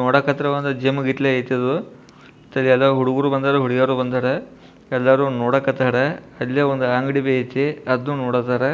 ನೋಡಕ್ಕ ಜಿಮ್ ಗತಿ ಇತಿ ಇದು ಹುಡುಗಾರು ಬಂದರ ಹುಡುಗೀರು ಬಂದರ ಎಲ್ಲರೂ ನೋಡಕತ್ತರ ಅಲ್ಲೇ ಒಂದು ಅಂಗಡಿಬಿ ಐತಿ ಅದು ನೋಡಕತ್ತಾರ.